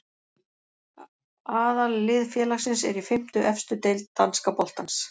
Aðallið félagsins er í fimmtu efstu deild danska boltans.